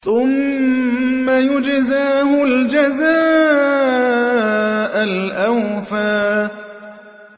ثُمَّ يُجْزَاهُ الْجَزَاءَ الْأَوْفَىٰ